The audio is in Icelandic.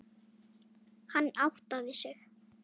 Hann áttaði sig.